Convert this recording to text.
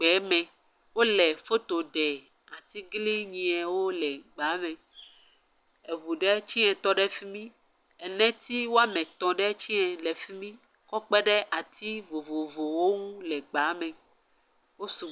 Gbe me, wole foto ɖem atiglinyiawo le gbea me. Ŋu ɖe tsɛ tɔ ɖe fi mi, eneti woame etɔ̃ ɖe tsɛ le fi mi kɔ kpe ɖe ati vovovowo ŋu le gbea me. Wosu …